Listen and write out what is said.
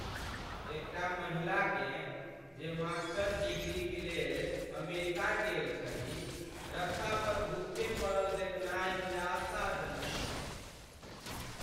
एकटा महिलाकेँ, जे मास्टर डिग्रीक लेल अमेरिका गेल छलीह, रस्तापर भुक्खे पड़ल देखनाइ निराशाजनक छल।